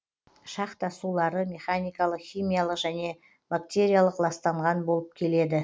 шахта сулары механикалық химиялық және бактериялық ластанған болып келеді